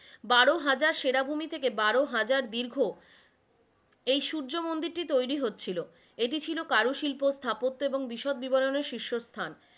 বারো হাজার সেরাভূমি থেকে বারো হাজার দীর্ঘ এই সূর্যমন্দিরটি তৈরি হচ্ছিলো, এটি ছিল কারুশিল্পর স্থাপত্য এবং বিশদ বিবরণের শীর্ষস্থান,